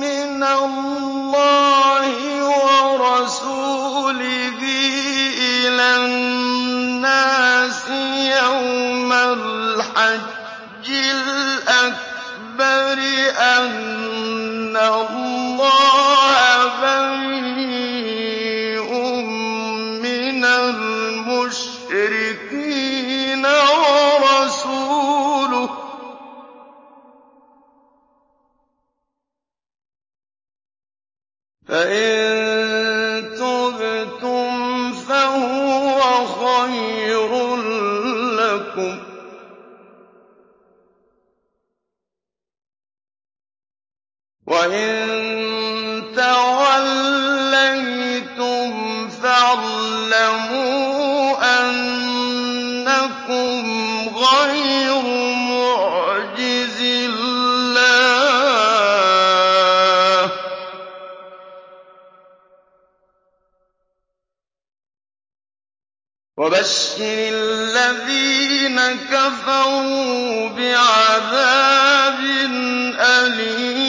مِّنَ اللَّهِ وَرَسُولِهِ إِلَى النَّاسِ يَوْمَ الْحَجِّ الْأَكْبَرِ أَنَّ اللَّهَ بَرِيءٌ مِّنَ الْمُشْرِكِينَ ۙ وَرَسُولُهُ ۚ فَإِن تُبْتُمْ فَهُوَ خَيْرٌ لَّكُمْ ۖ وَإِن تَوَلَّيْتُمْ فَاعْلَمُوا أَنَّكُمْ غَيْرُ مُعْجِزِي اللَّهِ ۗ وَبَشِّرِ الَّذِينَ كَفَرُوا بِعَذَابٍ أَلِيمٍ